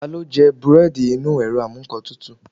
Talo jẹ búredì Inu erò amú nkán tútú